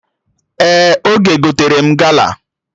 Ee, Oge gotere m gala